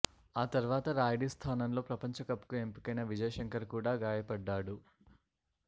ఆ తర్వాత రాయుడి స్థానంలో ప్రపంచకప్కు ఎంపికైన విజయ్ శంకర్ కూడా గాయపడ్డాడు